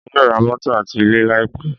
Èmi yóò ra mótò àti ilé láì pẹ́.